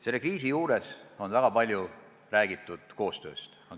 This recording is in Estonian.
Selle kriisi juures on väga palju räägitud koostööst.